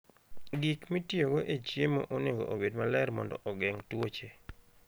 Gik mitiyogo e chiemo onego obed maler mondo ogeng' tuoche.